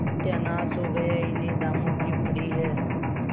सत्यानाश हो गया इन्हें दामों की पड़ी है